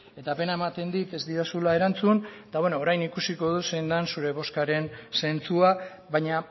eta pena ematen dit ez didazula erantzun eta bueno orain ikusiko dut zein den zure bozkaren zentzua baina